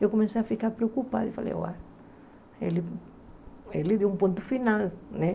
Eu comecei a ficar preocupada e falei, uai, ele ele deu um ponto final, né?